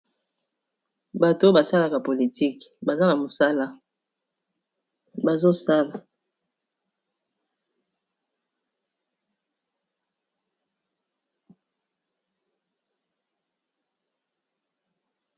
bato basalaka politike baza na mosala bazosala